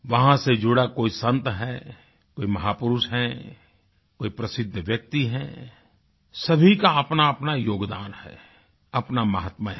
वहाँ से जुड़ा कोई संत है कोई महापुरुष है कोई प्रसिद्ध व्यक्ति है सभी का अपनाअपना योगदान है अपना महात्म्य है